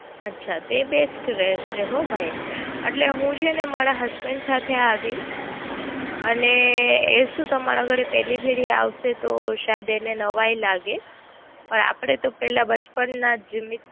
અચ્છા. તે Best રેસે હ ભાઈ એટલે હું છેને મારા Husband સાથે આવીશ. અને એ શું તમારા ઘરે પેલી ફેરી આવશે તો શાયદ એને નવાઈ લાગે ઓર આપડે તો પેલા બચપન ના જીમી.